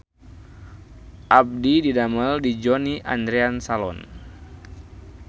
Abdi didamel di Johnny Andrean Salon